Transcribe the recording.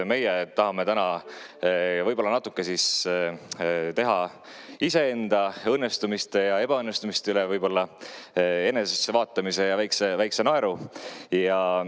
Meie tahame täna võib-olla natuke teha iseenda õnnestumiste ja ebaõnnestumiste enesessevaatamise ja ka väikese naeru.